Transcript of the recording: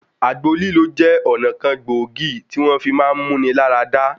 Àgbo lílò jẹ́ ọ̀nà kan gbòógì tí wọ́n fi máá mú-ni-lá-ra-dá.